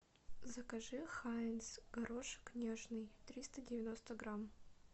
закажи хайнц горошек нежный триста девяносто грамм